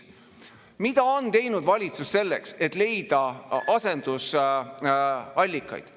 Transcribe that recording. Mida on teinud valitsus selleks, et leida asendusallikaid?